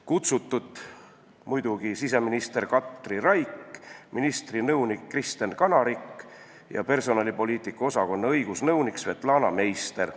Kutsutud oli muidugi siseminister Katri Raik, samuti ministri nõunik Kristen Kanarik ja personalipoliitika osakonna õigusnõunik Svetlana Meister.